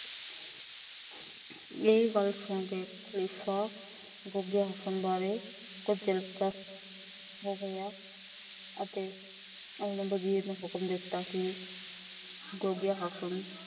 ਇਹ ਗੱਲ ਸੁਣ ਕੇ ਖ਼ਲੀਫ਼ਾ ਗੋਗੇ ਹਸਨ ਵਾਰੇ ਉਹਨੇ ਵਜ਼ੀਰ ਨੂੰ ਹੁਕਮ ਦਿੱਤਾ। ਕਿ ਗੋਗੇ ਹਸਨ